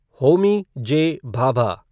Homi J. Bhabha